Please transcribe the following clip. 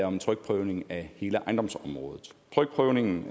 om en trykprøvning af hele ejendomsområdet tryktprøvningen